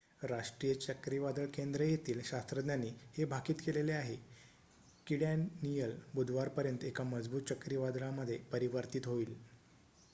राष्ट्रीय चक्रीवादळ केंद्र येथील शास्त्रज्ञांनी हे भाकीत केलेले आहे कीडॅनीयल बुधवारपर्यंत एका मजबूत चक्रीवादळामध्ये परिवर्तीत होईल